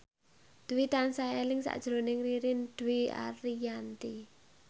Dwi tansah eling sakjroning Ririn Dwi Ariyanti